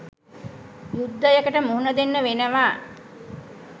යුද්ධයකට මුහුණ දෙන්න වෙනව